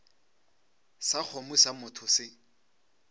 sa kgomo sa motho se